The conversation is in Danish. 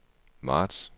marts